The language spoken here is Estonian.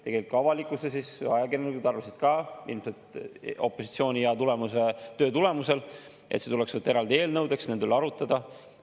Tegelikult ka avalikkus ja ajakirjanikud arvasid – ilmselt opositsiooni hea töö tulemus –, et see tuleks võtta eraldi eelnõudeks, nende üle arutada.